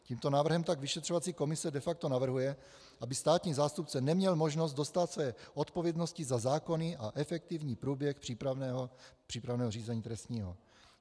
Tímto návrhem tak vyšetřovací komise de facto navrhuje, aby státní zástupce neměl možnost dostát své odpovědnosti za zákony a efektivní průběh přípravného řízení trestního.